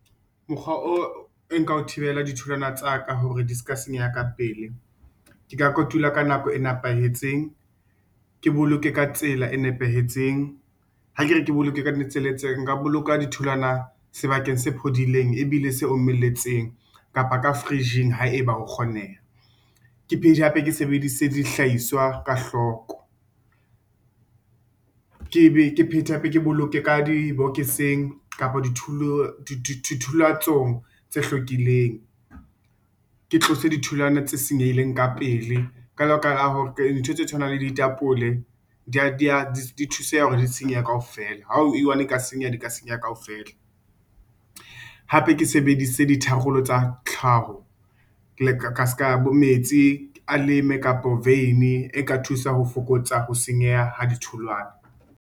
Mokgwa o nka thibela ditholwana tsa ka hore di ska senyeha ka pele, ke ka kotula ka nako e nepahetseng ke boloke ka tsela e nepahetseng. Ha kere ke boloke ka di tsela tse nepahetseng, nka boloka ditholwana sebakeng se phodileng e bile se o meletseng kapa ka fridge-ng haeba ho kgoneha. Ke phete hape ke sebedise dihlahiswa ka hloko, ke be ke phete hape ke boloke ka dibokeseng kapa di tholatsong tse hlwekileng, ke tlose ditholwana tse senyehileng ka pele dintho tse tshwanang le ditapole di thuseha hore di senyehe kaofela ha e i-one di ka senyeha di senyeha kaofela. Hape ke sebedise di tharollo tsa tlhaho, ka ska bo metsi a leme kapo e ka thusa ho fokotsa ho senyeha ha ditholwana.